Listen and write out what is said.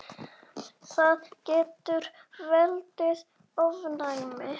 Það getur valdið ofnæmi.